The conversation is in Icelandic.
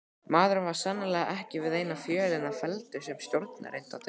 Maðurinn var sannarlega ekki við eina fjölina felldur sem stjórnarerindreki!